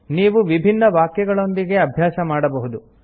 ನೀವು ವಿಭಿನ್ನ ವಾಕ್ಯಗಳೊಂದಿಗೆ ಅಭ್ಯಾಸ ಮಾಡಬಹುದು